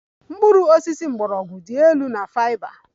Mkpụrụ osisi mgbọrọgwụ dị elu na fiber